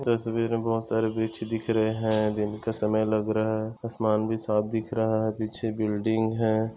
तस्वीर मे बोहोत सारे वृक्ष दिख रहे है दिन का समय लग रहा है आसमान भी साफ दिख रहा है पीछे बिल्डिंग है।